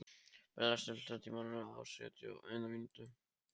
Perla, stilltu tímamælinn á sjötíu og eina mínútur.